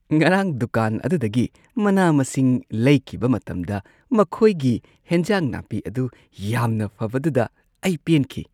ꯉꯔꯥꯡ ꯗꯨꯀꯥꯟ ꯑꯗꯨꯗꯒꯤ ꯃꯅꯥ-ꯃꯁꯤꯡ ꯂꯩꯈꯤꯕ ꯃꯇꯝꯗ ꯃꯈꯣꯏꯒꯤ ꯍꯦꯟꯖꯥꯡ ꯅꯥꯄꯤ ꯑꯗꯨ ꯌꯥꯝꯅ ꯐꯕꯗꯨꯗ ꯑꯩ ꯄꯦꯟꯈꯤ ꯫